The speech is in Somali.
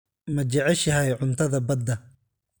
Ma jeceshahay cuntada badda?